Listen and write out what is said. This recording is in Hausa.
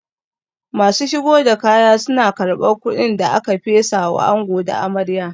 Masu shigo da kaya suna karban kudin da aka fesa wa ango da amarya